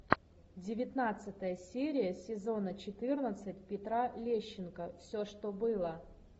девятнадцатая серия сезона четырнадцать петра лещенко все что было